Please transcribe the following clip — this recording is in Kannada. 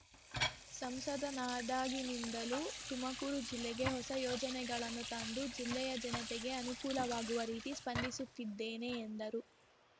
ಸಂಸದನಾದಾಗಿನಿಂದಲೂ ತುಮಕೂರು ಜಿಲ್ಲೆಗೆ ಹೊಸ ಯೋಜನೆಗಳನ್ನು ತಂದು ಜಿಲ್ಲೆಯ ಜನತೆಗೆ ಅನುಕೂಲವಾಗುವ ರೀತಿ ಸ್ಪಂದಿಸುತ್ತಿದ್ದೇನೆ ಎಂದರು